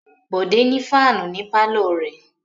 Bòdé ní fáánù ní pálọ̀ rẹ̀.